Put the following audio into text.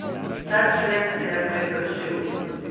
Ta člen se je prekršil.